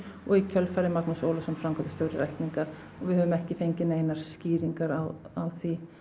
og í kjölfarið Magnús Ólafsson framkvæmdastjóri lækninga og við höfum ekki fengið neina skýringu á því